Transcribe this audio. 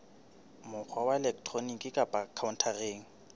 mokgwa wa elektroniki kapa khaontareng